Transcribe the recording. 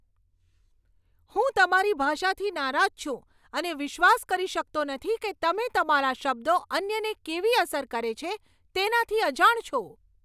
હું તમારી ભાષાથી નારાજ છું અને વિશ્વાસ કરી શકતો નથી કે તમે તમારા શબ્દો અન્યને કેવી અસર કરે છે, તેનાથી અજાણ છો.